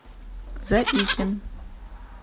заикин